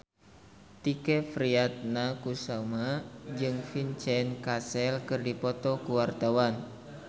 Tike Priatnakusuma jeung Vincent Cassel keur dipoto ku wartawan